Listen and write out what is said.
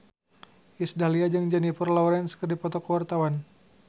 Iis Dahlia jeung Jennifer Lawrence keur dipoto ku wartawan